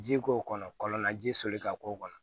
Ji k'o kɔnɔ kɔlɔn na ji soli ka k'o kɔnɔ